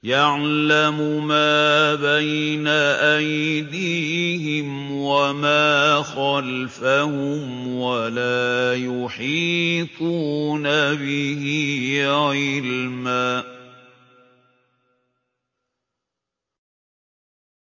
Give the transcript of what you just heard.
يَعْلَمُ مَا بَيْنَ أَيْدِيهِمْ وَمَا خَلْفَهُمْ وَلَا يُحِيطُونَ بِهِ عِلْمًا